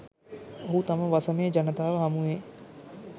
ඔහු තම වසමේ ජනතාව හමුවේ